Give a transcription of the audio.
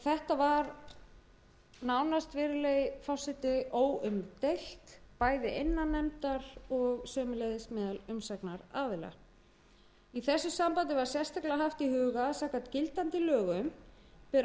þetta var nánast virðulegi forseti óumdeilt bæði innan nefndar og sömuleiðis meðal umsagnaraðila í þessu sambandi var sérstaklega haft í huga að samkvæmt gildandi lögum ber orkustofnun